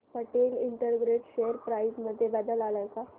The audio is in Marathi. पटेल इंटरग्रेट शेअर प्राइस मध्ये बदल आलाय का